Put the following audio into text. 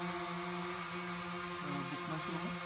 uh book my show